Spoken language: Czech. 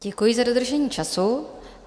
Děkuji za dodržení času.